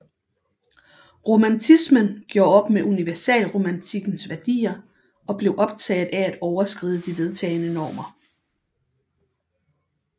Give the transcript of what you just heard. Romantismen gjorde op med universalromantikkens værdier og blev optaget af at overskride de vedtagne normer